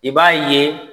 I b'a ye